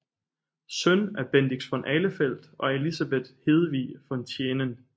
Søn af Bendix von Ahlefeldt og Elisabeth Hedevig von Thienen